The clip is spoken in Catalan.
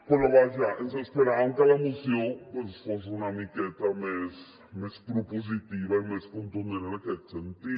però vaja ens esperàvem que la moció doncs fos una miqueta més propositiva i més contundent en aquest sentit